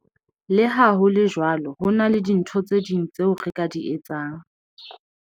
Le ha ho le jwalo, ho na le dintho tse ding tseo re ka di etsang.